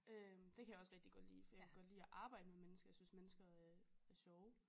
Øh det kan jeg også rigtig godt lide for jeg kan godt lide at arbejde med mennesker jeg synes mennesker er er sjove